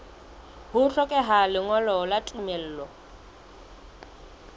ho hlokeha lengolo la tumello